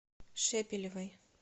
шепелевой